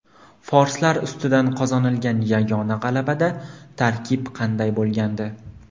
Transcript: Forslar ustidan qozonilgan yagona g‘alabada tarkib qanday bo‘lgandi?.